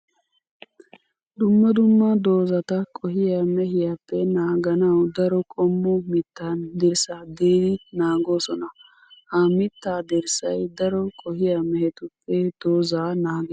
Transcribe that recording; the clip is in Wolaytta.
Dumma dumma doozatta qohiya mehiyappe naaganawu daro qommo mittan dirssa diriddi naagosonna. Ha mitta dirssay daro qohiya mehettuppe dooza naages.